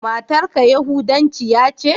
Matar ka yahudancia ce?